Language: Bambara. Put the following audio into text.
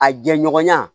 A jɛɲɔgɔnya